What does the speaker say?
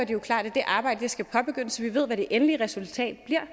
jo klart at det arbejde skal påbegyndes så vi ved hvad det endelige resultat bliver